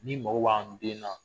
N'i mɔgɔ b'an den na